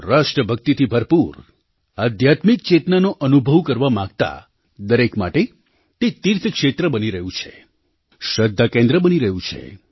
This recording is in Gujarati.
રાષ્ટ્રભક્તિથી ભરપૂર આધ્યાત્મિક ચેતનાનો અનુભવ કરવા માગતાં દરેક માટે તે તીર્થક્ષેત્ર બની રહ્યું છે શ્રદ્ધાકેન્દ્ર બની રહ્યું છે